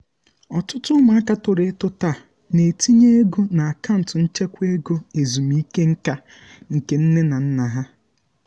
ọtụtụ ụmụaka toro eto taa na-etinye ego na akaụntụ nchekwa ego ezumike nka nke nne na nna ha